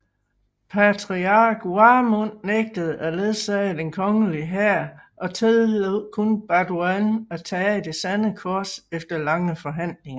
Patriark Warmund nægtede at ledsage den kongelige hær og tillod kun Balduin at tage Det sande kors efter lange forhandlinger